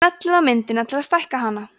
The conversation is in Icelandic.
smellið á myndina til að stækka hana